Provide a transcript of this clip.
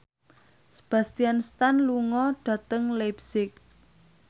Sebastian Stan lunga dhateng leipzig